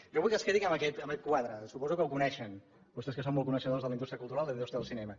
jo vull que es quedin amb aquest quadre suposo que el coneixen vostès que són molt coneixedors de la indústria cultural de la indústria del cinema